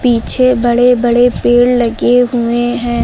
पीछे बड़े बड़े पेड़ लगे हुए हैं।